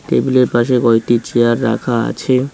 টেবিলের পাশে কয়টি চেয়ার রাখা আছে।